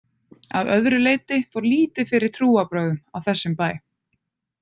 Að öðru leyti fór lítið fyrir trúarbrögðum á þessum bæ.